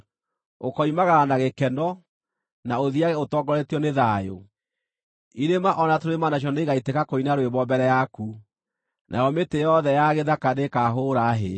Ũkoimagara na gĩkeno, na ũthiiage ũtongoretio nĩ thayũ; irĩma o na tũrĩma nacio nĩigaitĩka kũina rwĩmbo mbere yaku, nayo mĩtĩ yothe ya gĩthaka nĩĩkahũũra hĩ.